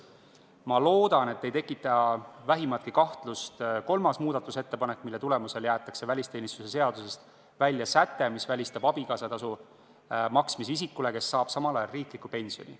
Ma loodan, et ei tekita vähimatki kahtlust 3. muudatusettepanek, mille tulemusel jäetakse välisteenistuse seadusest välja säte, mis välistab abikaasatasu maksmise inimesele, kes saab samal ajal riiklikku pensioni.